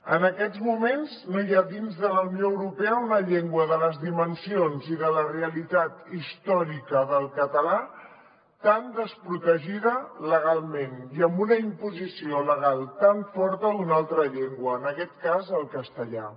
en aquests moments no hi ha dins de la unió europea una llengua de les dimensions i de la realitat històrica del català tan desprotegida legalment i amb una imposició legal tan forta d’una altra llengua en aquest cas el castellà